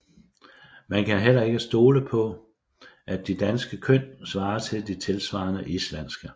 Man kan heller ikke stole på at de danske køn svarer til de tilsvarende islandske